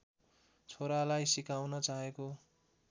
छोरालाई सिकाउन चाहेको